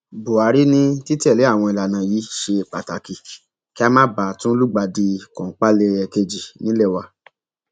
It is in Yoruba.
buhari ni títẹlé àwọn ìlànà yìí ṣe pàtàkì kí a má bàa tún lùgbàdì kọńpàlẹẹkejì nílé wa